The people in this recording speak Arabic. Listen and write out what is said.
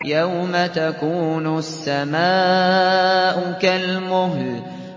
يَوْمَ تَكُونُ السَّمَاءُ كَالْمُهْلِ